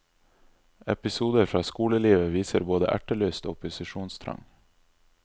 Episoder fra skolelivet viser både ertelyst og opposisjonstrang.